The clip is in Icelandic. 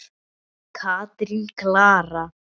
Katrín Klara.